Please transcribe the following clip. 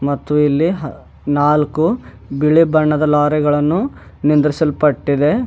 ಮತ್ತು ಇಲ್ಲಿ ಹ ನಾಲ್ಕು ಬಿಳಿ ಬಣ್ಣದ ಲಾರಿಗಳನ್ನು ನಿಂದ್ರಿಸಲ್ಪಟ್ಟಿದೆ.